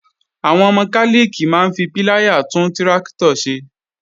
Àwọn mọkálìkì máa ń fi píláyà tún tráktọ̀ ṣe